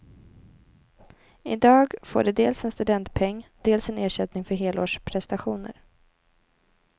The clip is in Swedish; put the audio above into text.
I dag får de dels en studentpeng, dels en ersättning för helårsprestationer.